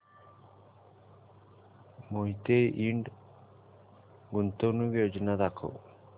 मोहिते इंड गुंतवणूक योजना दाखव